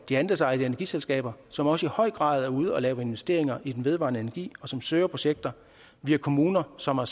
de andelsejede energiselskaber som også i høj grad er ude at lave investeringer i vedvarende energi og som søger projekter vi har kommuner som har